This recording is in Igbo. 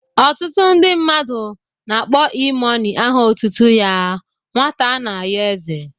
Ọtụtụ ndị mmadụ na-akpọ E mọni aha otutu ya 'Nwata ana ayo eze'